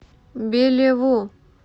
белеву